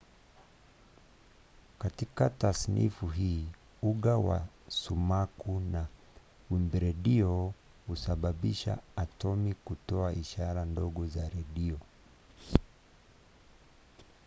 katika tasnifu hii uga wa sumaku na wimbiredio husababisha atomi kutoa ishara ndogo za redio